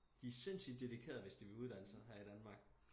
De sindssygt dedikerede hvis de vil uddanne sig her i Danmark